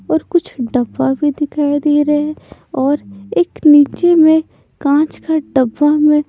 और कुछ डब्बा भी दिखाई दे रहा है और एक नीचे में कांच का डब्बा में--